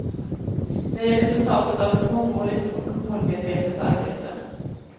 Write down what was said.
Det är resultatet av ett mångårigt och målmedvetet arbete.